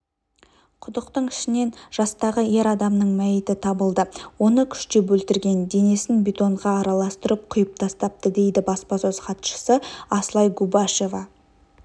құдықтың ішінен жастағы ер адамның мәйіті табылды оны күштеп өлтірген денесін бетонға араластырып құйып тастапты дейді баспасөз хатшысы асылай губашева